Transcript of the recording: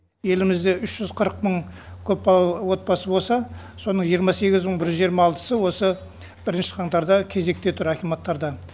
елімізде үш жүз қырық мың көпбалалы отбасы болса соның жиырма сегіз мың бір жүз жиырма алтысы осы бірінші қаңтарда кезекте тұр акиматтардан